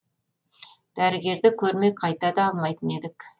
дәрігерді көрмей қайта да алмайтын едік